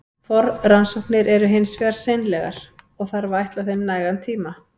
Forrannsóknir eru hins vegar seinlegar, og þarf að ætla þeim nægan tíma.